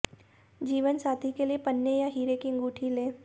जीवनसाथी के लिए पन्ने या हीरे की अंगूठी लें